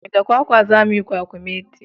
Da kwakwa za muyi kwakumeti